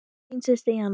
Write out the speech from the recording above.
Þín systir Jana.